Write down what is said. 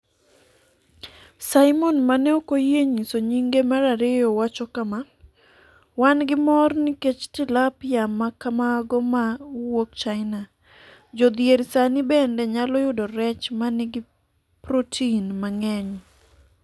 Simon ma ne ok oyie nyiso nyinge mar ariyo wacho kama: “Wan gi mor ni nikech Tilapia ma kamago ma wuok China, jodhier sani bende nyalo yudo rech ma nigi protin mang’eny.”